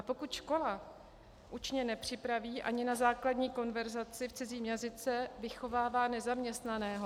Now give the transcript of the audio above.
A pokud škola učně nepřipraví ani na základní konverzaci v cizím jazyce, vychovává nezaměstnaného.